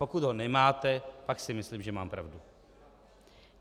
Pokud ho nemáte, pak si myslím, že mám pravdu.